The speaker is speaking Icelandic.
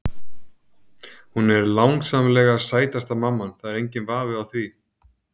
Hún er langsamlega sætasta mamman, það er enginn vafi á því.